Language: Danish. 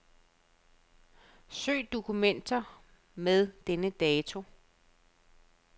Søg på dokumenter med denne dato.